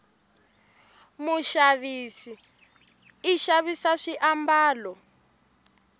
mushavisi ishavisa swi ambalo